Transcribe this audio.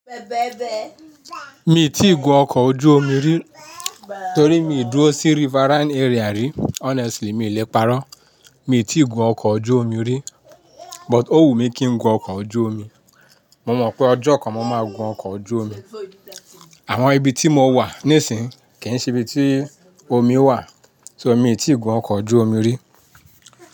Mi ò tí ì gun ọkọ̀ ojú omi rí torí mi ò dúró sí riverine area rí. Honestly, mi i lè parọ́. Mi tí ì gun ọkọ̀ ojú omi rí, but ó wù mí kí n gun ọkọ̀ ojú omi. Mo mọ̀ pé ọjọ́ kan mo máa gun ọkọ̀ ojú omi. Àmọ́ ibi tí mo wà nísìń, kì í ṣe ibi tí omi wà, so mi tí ì gun ọkọ̀ ojú omi rí?